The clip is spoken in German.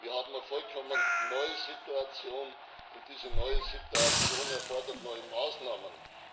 Wir haben eine vollkommen neue Situation, und diese neue Situation erfordert neue Maßnahmen.